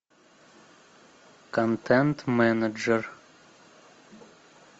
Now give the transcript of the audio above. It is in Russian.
контент менеджер